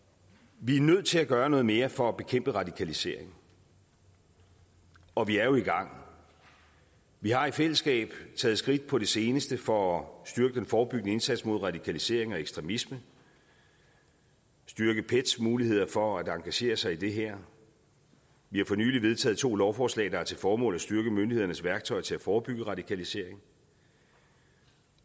vi er nødt til at gøre noget mere for at bekæmpe radikaliseringen og vi er jo i gang vi har i fællesskab taget skridt på det seneste for at styrke den forebyggende indsats mod radikalisering og ekstremisme styrket pets muligheder for at engagere sig i det her vi har for nylig vedtaget to lovforslag der har til formål at styrke myndighedernes værktøj til at forebygge radikalisering